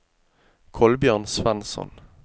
Kolbjørn Svensson